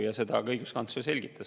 Ja seda õiguskantsler ka selgitas.